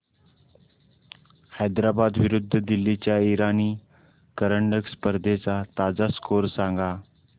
हैदराबाद विरुद्ध दिल्ली च्या इराणी करंडक स्पर्धेचा ताजा स्कोअर सांगा